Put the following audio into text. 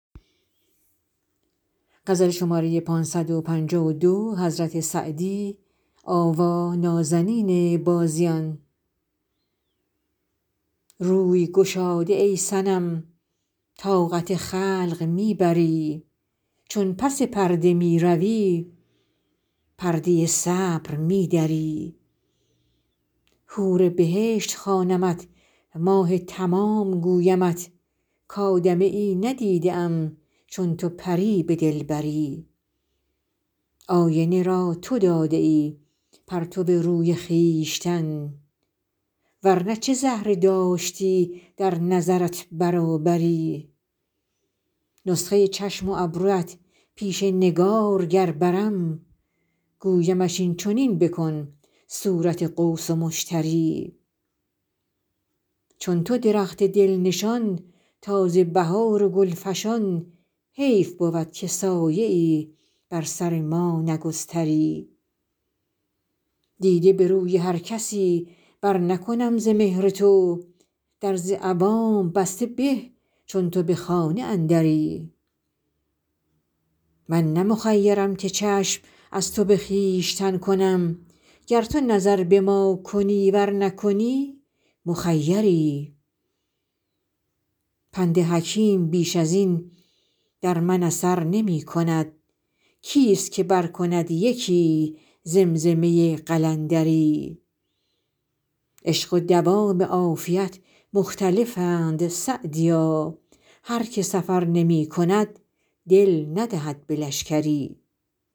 روی گشاده ای صنم طاقت خلق می بری چون پس پرده می روی پرده صبر می دری حور بهشت خوانمت ماه تمام گویمت کآدمیی ندیده ام چون تو پری به دلبری آینه را تو داده ای پرتو روی خویشتن ور نه چه زهره داشتی در نظرت برابری نسخه چشم و ابرویت پیش نگارگر برم گویمش این چنین بکن صورت قوس و مشتری چون تو درخت دل نشان تازه بهار و گل فشان حیف بود که سایه ای بر سر ما نگستری دیده به روی هر کسی برنکنم ز مهر تو در ز عوام بسته به چون تو به خانه اندری من نه مخیرم که چشم از تو به خویشتن کنم گر تو نظر به ما کنی ور نکنی مخیری پند حکیم بیش از این در من اثر نمی کند کیست که برکند یکی زمزمه قلندری عشق و دوام عافیت مختلفند سعدیا هر که سفر نمی کند دل ندهد به لشکری